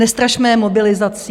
Nestrašme je mobilizací.